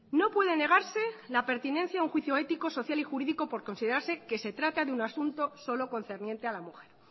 no puede negarse la pertinencia a un juicio ético social y jurídico por considerarse que se trata de un asunto solo concerniente a la mujer